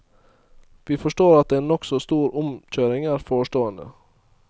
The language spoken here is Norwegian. Vi forstår at en nokså stor omkjøring er forestående.